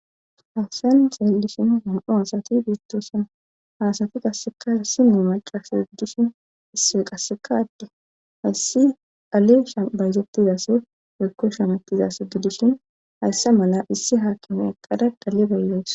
hawsan zeellishin nam7u hasati biittoosan haasati qassekassime macasa giddishin isse qassekaadde hayssi aleshabayzoptizaso yekko shamattizaso gidishin hayssa mala issi haakino eqqada dhali baylos